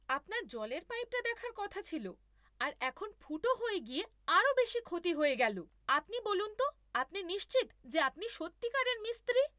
আপনার জলের পাইপটা দেখার কথা ছিল আর এখন ফুটো হয়ে গিয়ে আরও বেশি ক্ষতি হয়ে গেলো! আপনি বলুন তো আপনি নিশ্চিত যে আপনি সত্যিকারের মিস্ত্রি?